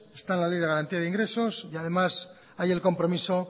está en la ley de garantía de ingresos y además hay el compromiso